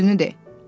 Düzünü de.